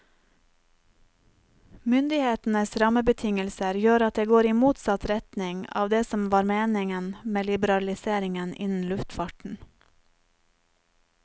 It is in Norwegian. Myndighetenes rammebetingelser gjør at det går i motsatt retning av det som var meningen med liberaliseringen innen luftfarten.